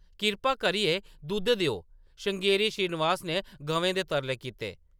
“कृपा करियै दुद्ध देओ”, श्रृंगेरी श्रीनिवास ने गवें दे तरले कीते ।